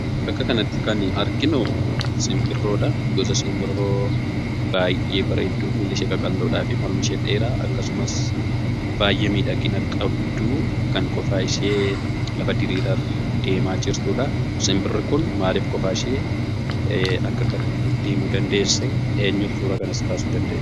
Bakka kanatti kan nuyi arginu simbirroodha. Gosa simbirroo baay'ee bareeddu, lukti ishee qaqalloodhaa fi mormi ishee dheeraa, akkasumas baay'ee miidhagina qabdu, kan qofaa ishee lafa diriiraa irraa deemaa jirtuudha. Simbirri kun maaliif qofaa ishee akka kanatti deemuu dandeesse? eenyuutu suuraa kanas kaasuu danda'e.